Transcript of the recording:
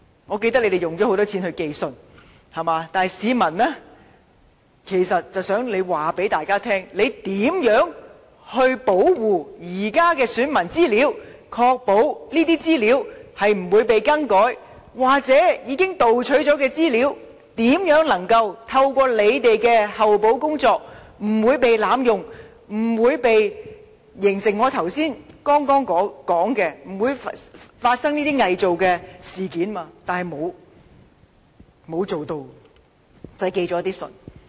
我記得政府花了很多錢寄信通知市民，但其實市民只是想政府告訴大家，當局將會如何保護現時的選民資料，以確保這些資料不會被更改，或是對於已被盜取的資料，政府如何透過後補工作保證不被濫用，可防止我剛才提到偽造文件等情況。